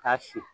K'a si